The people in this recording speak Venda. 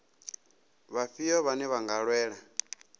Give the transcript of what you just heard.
vhafhio vhane vha nga lwela